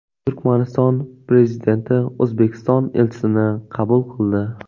Turkmaniston prezidenti O‘zbekiston elchisini qabul qildi.